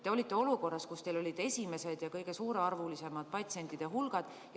Te olite olukorras, kus teie poole pöördusid esimesed ja kõige suurearvulisemad patsientide hulgad.